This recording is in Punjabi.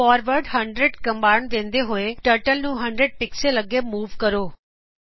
ਫਾਰਵਰਡ100 ਕਮਾਂਡ ਦਿੰਦੇ ਹੋਏ ਟਰਟਲ ਨੂੰ 100 ਪਿਕਸਲ ਅੱਗੇ ਮੂਵ ਕਰੋ